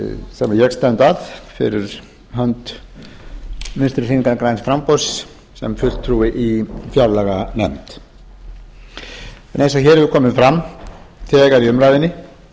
ég stend að fyrir hönd vinstri hreyfingarinnar græns framboðs sem fulltrúi í fjárlaganefnd en eins og hér hefur komið fram þegar í umræðunni þá